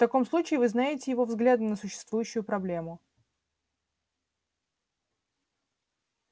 в таком случае вы знаете его взгляды на существующую проблему